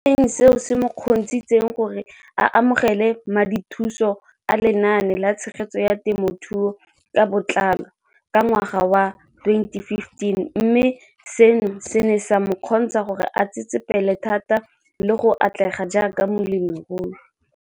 Balemirui e leng seo se mo kgontshitseng gore a amogele madithuso a Lenaane la Tshegetso ya Te mothuo ka Botlalo, CASP] ka ngwaga wa 2015, mme seno se ne sa mo kgontsha gore a tsetsepele thata le go atlega jaaka molemirui.